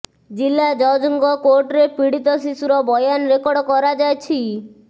ଜିଲ୍ଲା ଜଜ୍ଙ୍କ କୋର୍ଟରେ ପୀଡ଼ିତ ଶିଶୁର ବୟାନ ରେକର୍ଡ଼ କରାଯାଛି